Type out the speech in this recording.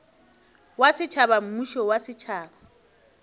wa setšhaba mmušo wa setšhaba